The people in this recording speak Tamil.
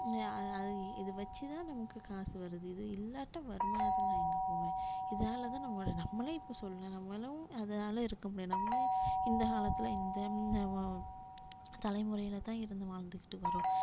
அஹ் இ~ இதை வச்சுதான் நமக்கு காசு வருது இது இல்லாட்டா வருமானத்துக்கு நான் இங்க போவேன் இதனாலதான் நம்மளோட நம்மளே இப்ப சொல்றேன் நம்மளும் அதனால இருக்க முடியாது நம்மளும் இந்த காலத்துல இந்த தலைமுறையிலதான் இருந்து வாழ்ந்துகிட்டு வர்றோம்